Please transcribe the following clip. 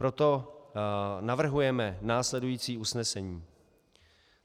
Proto navrhujeme následující usnesení: